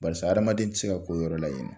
Barisa hadamaden tɛ se ka ko yɔrɔ la yen nɔ.